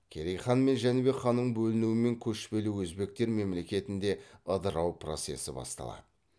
керей хан мен жәнібек ханның бөлінуімен көшпелі өзбектер мемлекетінде ыдырау процесі басталады